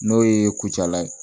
N'o ye kucala ye